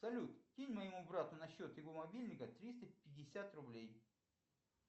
салют кинь моему брату на счет его мобильника триста пятьдесят рублей